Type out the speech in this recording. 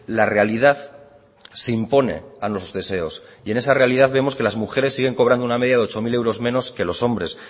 la realidad se impone a los deseos y en esa realidad vemos que las mujeres siguen cobrando una media de ocho mil euros menos que los hombres